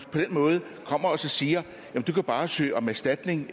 siger du kan bare søge om erstatning